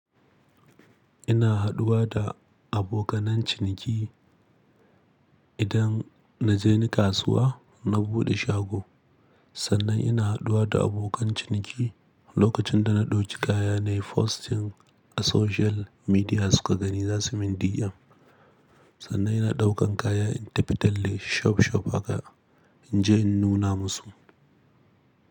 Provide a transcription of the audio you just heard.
Ina haɗuwa da abokanan ciniki idan na je ni kasuwa na buɗe shago. Sannan ina haɗuwa da abokan ciniki lokacin da na ɗauki kaya nayi posting a social media suka gani za su min DM. Sannan ina ɗaukan kaya in tafi talle shop shop haka in je in nuna musu.